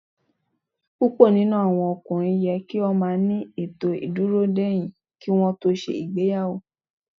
Púpọ̀ nínú àwọn ọkùnrin yẹ kí ó máa ní ètò dúró dain kí wọn tó ṣe ìgbéyàwó.